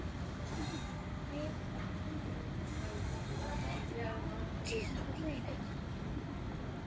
Hvernig stendur á því að